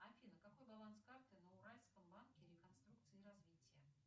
афина какой баланс карты на уральском банке реконструкции и развития